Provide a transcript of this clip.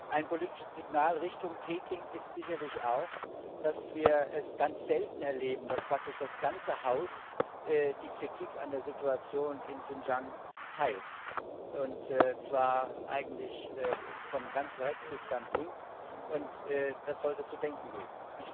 Ein politisches Signal Richtung Peking ist sicherlich auch, dass wir es ganz selten erleben, dass praktisch das ganze Haus die Kritik an der Situation in Xinjiang teilt, und zwar eigentlich von ganz rechts bis ganz links, und das sollte zu denken geben.